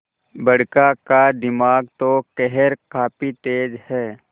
बड़का का दिमाग तो खैर काफी तेज है